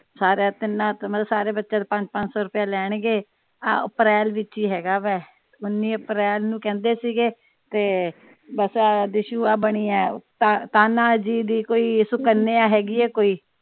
ਸਾਰਿਆਂ ਤਿੰਨਾਂ ਤੋਂ ਮਤਲਬ ਸਾਰੇ ਬੱਚਿਆਂ ਤੋਂ ਪੰਜ ਪੰਜ ਸੌ ਰੁਪਇਆ ਲੈਣਗੇ ਆਹੋ ਅਪ੍ਰੈਲ ਵਿਚ ਈ ਹੇਗਾ ਵੇ ਉਨ੍ਹੀ ਅਪ੍ਰੈਲ ਨੂੰ ਕਹਿੰਦੇ ਸੀ ਗੇ ਤੇ ਬਸ ਆ ਦੀਸ਼ੁ ਆ ਬਣੀ ਵੇ ਕਾਨ੍ਹਾ ਜੀ ਦੀ ਕੋਈ ਸੁਕਨਿਆ ਹੇਗੀ ਏ ਕੋਈ।